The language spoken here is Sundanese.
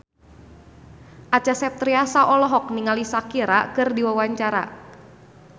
Acha Septriasa olohok ningali Shakira keur diwawancara